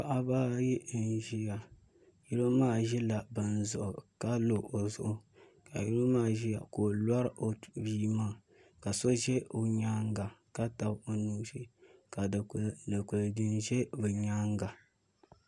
Paɣaba ayi n ʒiya yino maa ʒila bin zuɣu ka lo o zuɣu ka yino maa ʒiya ka o lori o bia maa ka so ʒɛ o nyaanga ka tabi o nuu ka dikili jini ʒɛ o nyaanga